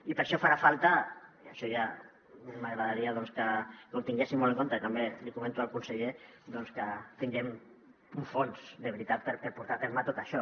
i per això farà falta això ja m’agradaria que ho tinguéssim molt en compte i també l’hi comento al conseller doncs que tinguem un fons de veritat per portar a terme tot això